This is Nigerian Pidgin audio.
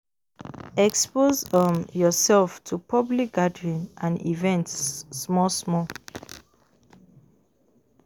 Expose um your self to public gathering and events small small